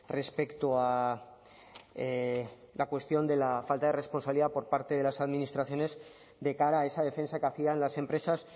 respecto a la cuestión de la falta de responsabilidad por parte de las administraciones de cara a esa defensa que hacían las empresas